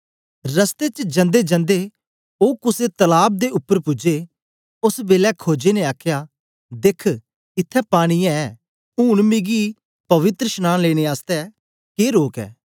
रस्ते च जंदेजंदे ओ कुसे तलाब पनासे दे उपर पूजे ओस बेलै खोजे ने आखया देख इत्थैं पानी ऐ ऊन मिकी पवित्रशनांन लेने आसतै के रोक ऐ